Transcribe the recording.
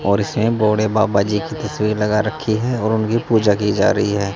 और इसमें भोले बाबा जी की तस्वीर लगा रखी है और उनकी पूजा की जा रही है।